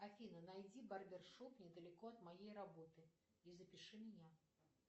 афина найди барбершоп недалеко от моей работы и запиши меня